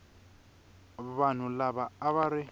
vanhu lava a va ri